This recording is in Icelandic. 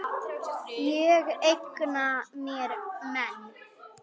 Ég eigna mér menn.